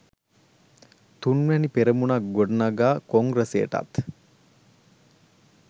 තුන්වැනි පෙරමුණක් ගොඩනගා කොංග්‍රසයටත්